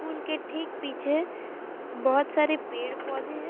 Pool के ठीक पीछे बहोत सारे पेड़ पौधे है।